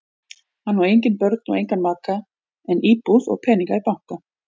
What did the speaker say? Hann á engin börn og engan maka en íbúð og peninga í banka.